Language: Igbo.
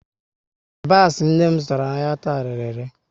Yabasị nne m zụtara n'ahia taa, rere ele